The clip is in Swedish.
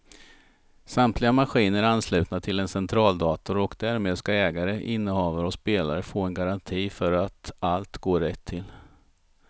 Samtliga maskiner är anslutna till en centraldator och därmed ska ägare, innehavare och spelare få en garanti för att allt går rätt till.